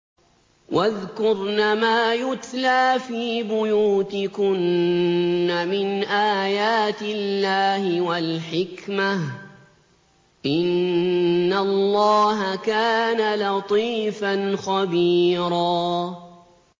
وَاذْكُرْنَ مَا يُتْلَىٰ فِي بُيُوتِكُنَّ مِنْ آيَاتِ اللَّهِ وَالْحِكْمَةِ ۚ إِنَّ اللَّهَ كَانَ لَطِيفًا خَبِيرًا